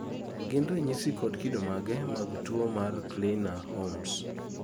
gin ranyisi kod kido mage mag tuwo mar kleiner holmes?